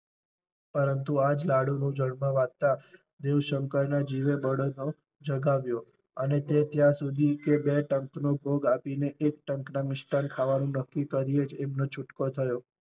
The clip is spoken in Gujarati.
પરંતુ આ જ લાડુ નું જલમાં વાંચતાં દેવ શંકર ના જીવે જગાવ્યો અને તે ત્યાં સુધી કે બે ટંક નું ભોગ આપી ને એક ટંક ના મિષ્ટાન ખાવાનું નક્કી કરી ને એમનો છૂટકો થયો.